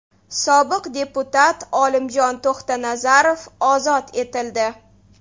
Sobiq deputat Olimjon To‘xtanazarov ozod etildi.